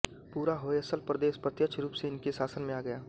पूरा होयसल प्रदेश प्रत्यक्ष रूप से इनके शासन में आ गया